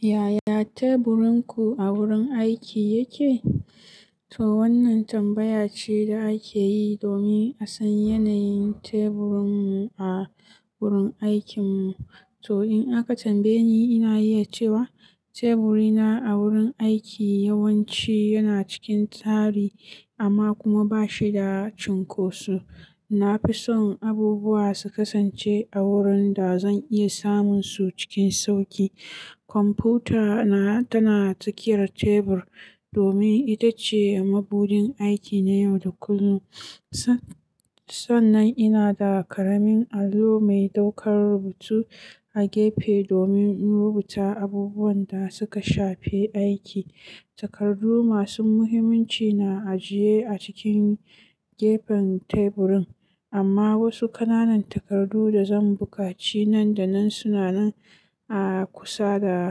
Yaya teburinku a wurin aiki yake? To wannan tambaya ce da ake yi domin a san yanayin teburinmu a wurin aikinmu. To in aka tambaye ni, ina iya cewa teburina a wurin aiki yawanci yana cikin tsari amma kuma ba shi da cunkoso. Na fi son abubuwa su kasance a wurin da zan iya samun su cikin sauƙi. Kwamfuta na tana cikin tebur domin ita ce mabuɗin aiki na yau da kullum. Sannan ina da ƙaramin allo mai ɗaukar rubutu a gefe domin in rubuta abubuwan da suka shafe aiki. Takardu masu muhimmanci na ajiye a cikin gefen teburin, amma wasu ƙananan takardu da zan buƙaci nan da nan suna nan a kusa da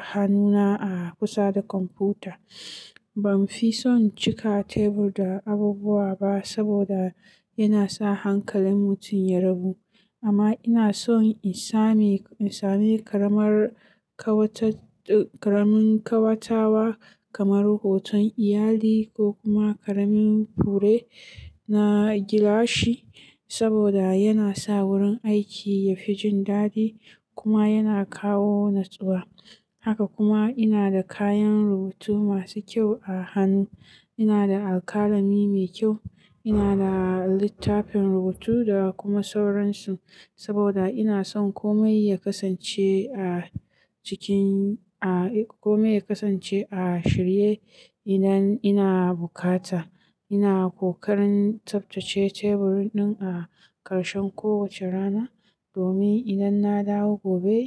hannuna a kusa da kwamfuta. Ban fi son cika tebur da abubuwa ba saboda yana sa hankalin mutum ya rabu. Amma ina son in sami ƙaramin ƙawatawa kamar hoton iyali ko kuma ƙaramin fure na gilashi saboda yana sa wurin aiki yafi jin dadi kuma yana kawo natsuwa. Haka kuma ina da kayan rubutu masu kyau a hannu. Ina da alƙalami mai kyau. Ina da littafin rubutu da kuma sauransu saboda ina son kome ya kasance a cikin, kome ya kasance a shirye idan ina bukata. Ina ƙoƙarin tsaftace tebur ɗin a ƙarshen kowace rana domin idan na dawo gobe,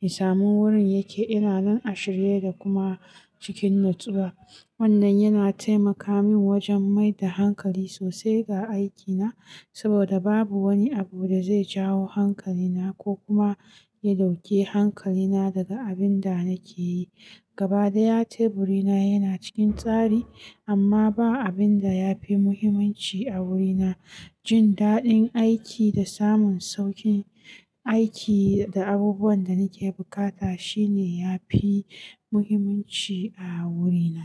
in samu wurin yake ina nan shirye da kuma cikin natsuwa. Wannan yana taimaka min wajen mai da hankali sosai ga aikina saboda babu wani abu da zai jawo hankalina ko kuma ya ɗauke hankalina daga abin da nake yi. Gaba ɗaya teburina yana cikin tsari amma ba abin da ya fi muhimmanci a wurina. Jin daɗin aiki da samun sauƙin aiki da abubuwan da nake bukata shine ya fi muhimmanci a wurina.